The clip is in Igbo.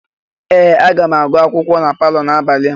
Ee! Aga m agụ akwụkwọ m na palọ n'abalị a.